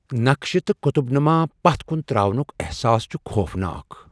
نقشہِ تہٕ قُطُب نُما پتھ كُن تراونک احساس چھُ خوفناک۔